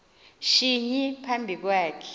shinyi phambi kwakhe